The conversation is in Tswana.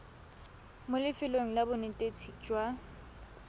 mo lefelong la bonetetshi jwa